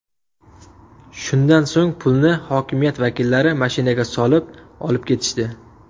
Shundan so‘ng pulni hokimiyat vakillari mashinaga solib, olib ketishdi.